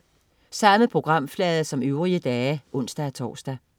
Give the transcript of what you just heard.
Samme programflade som øvrige dage (ons-tors)